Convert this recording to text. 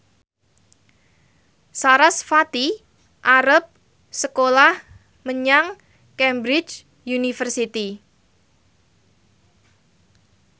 sarasvati arep sekolah menyang Cambridge University